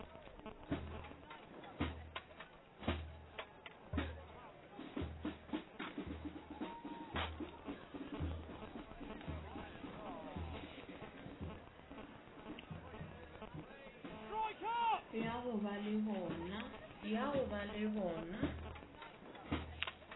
ya go ba le bona